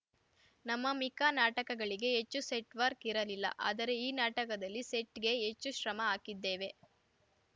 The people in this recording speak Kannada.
ನಮ್ಮ ಮಿಕ್ಕ ನಾಟಕಗಳಿಗೆ ಹೆಚ್ಚು ಸೆಟ್‌ ವರ್ಕ್ ಇರಲಿಲ್ಲ ಆದರೆ ಈ ನಾಟಕದಲ್ಲಿ ಸೆಟ್‌ಗೆ ಹೆಚ್ಚು ಶ್ರಮ ಹಾಕಿದ್ದೇವೆ